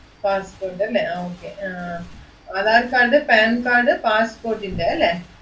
passport അല്ലേ ആഹ് okay ആഹ് ആധാർ കാർഡ്, പാൻകാർഡ്, passport ൻ്റെ അല്ലേ?